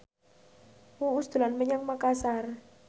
Uus dolan menyang Makasar